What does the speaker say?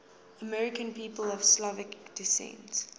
american people of slovak descent